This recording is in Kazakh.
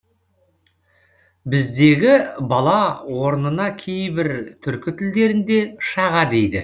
біздегі бала орнына кейбір түркі тілдерінде шаға дейді